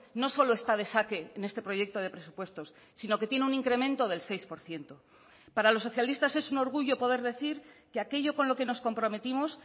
no solo está de saque en este proyecto de presupuestos sino que tiene un incremento del seis por ciento para los socialistas es un orgullo poder decir que aquello con lo que nos comprometimos